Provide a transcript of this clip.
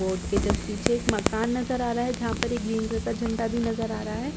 board के just पीछे एक मकान नज़र आ रहा है जहां पर एक ग्रीन कलर का झण्डा भी नज़र आ रहा है और रैड --